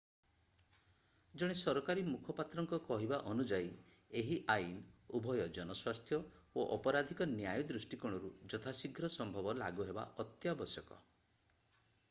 ଜଣେ ସରକାରୀ ମୁଖପାତ୍ରଙ୍କ କହିବା ଅନୁଯାୟୀ ଏହି ଆଇନ ଉଭୟ ଜନସ୍ୱାସ୍ଥ୍ୟ ଓ ଅପରାଧିକ ନ୍ୟାୟ ଦୃଷ୍ଟିକୋଣରୁ ଯଥାଶୀଘ୍ର ସମ୍ଭବ ଲାଗୁ ହେବା ଅତ୍ୟାବଶ୍ୟକ